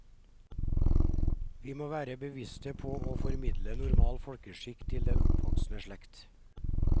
Vi må være bevisste på å formidle normal folkeskikk til den oppvoksende slekt.